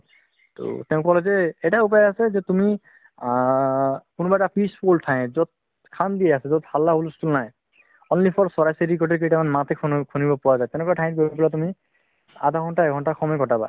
ট তেও কলে যে এটা উপাই আছে যে তুমি আ কোনোবাই এটা peaceful ঠাইত শন্তি আছে যত হাল্লা নাই only চৰাই চিৰিকতিৰ মাতহে শুনিব পোৱা যাই সেনেকুৱা ঠাইত গৈ তুমি আধা ঘন্তা এক ঘন্তা সময় কতাবা